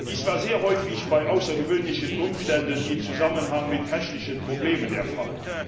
Dies war sehr häufig bei außergewöhnlichen Umständen in Zusammenhang mit technischen Problemen der Fall.